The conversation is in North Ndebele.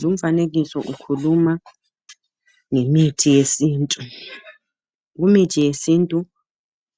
Lumfanekiso ukhuluma ngemithi yesintu. Kumithi yesintu